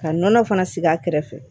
Ka nɔnɔ fana sigi a kɛrɛfɛ